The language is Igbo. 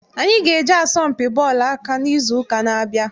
Anyị ga- eje asọmpi bọọlụ aka n'izu ụka na-abịa.